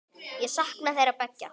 Ég sakna þeirra beggja.